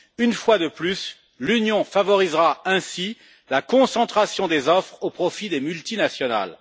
Une fois de plus, l'Union favorisera ainsi la concentration des offres au profit des multinationales.